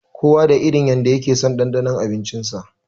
Kowa da irin yanda yakeson ɗanɗanon abinci sa.